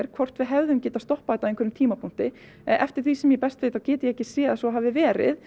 hvort við hefðum getað stoppað einhverjum tímapunkti eftir því sem ég best veit get ég ekki séð að svo hafi verið